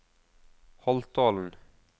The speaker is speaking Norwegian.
Holtålen